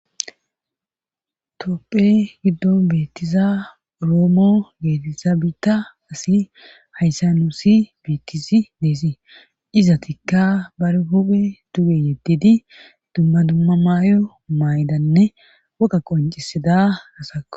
toopphe giddo beettiza roomo geetizaabita asi hayssa nuusi bettisi deesii izatikka bar huphe duge yeddidi dumma dumma maayo maydanne woqa qoncisida hasako